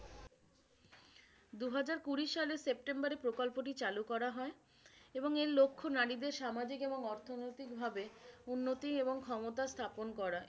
দুহাজার কুড়ি সালের সেপ্টেম্বরে প্রকল্পটি চালু করা হয় এবং এর লক্ষ্য নারীদের সামাজিক এবং অর্থনৈতিকভাবে উন্নতি ও ক্ষমতা স্থাপন করা।